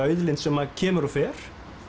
auðlind sem kemur og fer